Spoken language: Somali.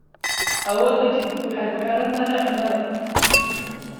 Awoodda jidhku waxay ku xidhan tahay cuntada.